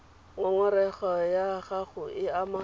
ngongorego ya gago e ama